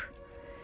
Yazıq.